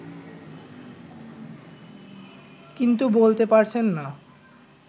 কিন্তু বলতে পারছেন না